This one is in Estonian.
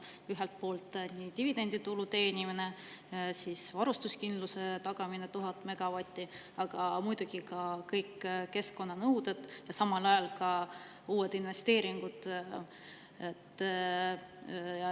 Ühelt poolt dividenditulu teenimine, siis varustuskindluse tagamine 1000 megavati ulatuses, muidugi ka kõik keskkonnanõuded ja samal ajal ka uued investeeringud.